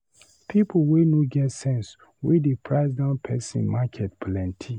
People wey no get sense, wey dey price down person market plenty.